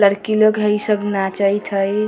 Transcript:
लड़की लोग हई इ सब नाचइत हई।